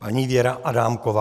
Paní Věra Adámková.